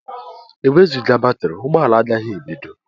Enwezuga batrị, ụgbọ ala agaghị ebido.